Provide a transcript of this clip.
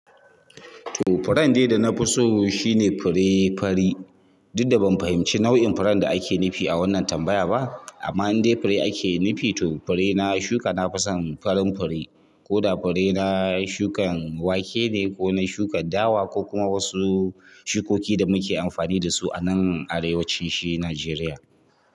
To furen dai dana fi so shine fure fari. Duk da ban fahimci nau'in furen da ake nufi a wannan tambaya ba amma in dai fure ake nufi to fure na shuka nafason farin fure ko da fure na shukan wake ne ko na shukan dawa ko kuma wasu shukoki da muke amfani da su anan arewacin shi Nigeria.